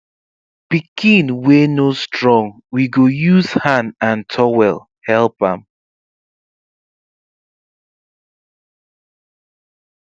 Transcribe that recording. pikin wey no strong we go use hand and towel help am